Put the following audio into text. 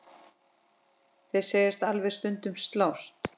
Þeir segjast alveg stundum slást.